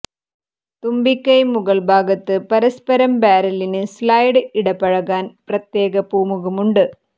തുമ്പിക്കൈ മുകൾ ഭാഗത്ത് പരസ്പരം ബാരലിന് സ്ലൈഡ് ഇടപഴകാൻ പ്രത്യേക പൂമുഖം ഉണ്ട്